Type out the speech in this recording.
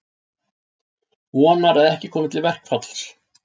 Vonar að ekki komi til verkfalls